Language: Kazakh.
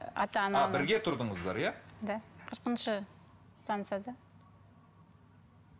бірге тұрдыңыздар иә да қырқыншы станцияда